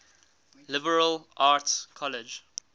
liberal arts college